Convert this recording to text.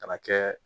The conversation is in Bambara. Ka na kɛ